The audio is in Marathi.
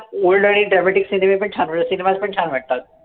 old आणि dramatic cinema पण छान वाटतं cinemas पण छान वाटतात.